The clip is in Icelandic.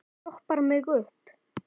Stoppar mig upp?